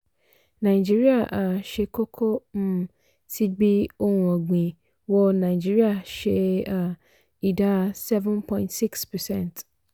nàìjíríà um ṣe kókó um tí gbí ohun ọ̀gbìn wọ nigeria ṣe um ìdá seven point six percent.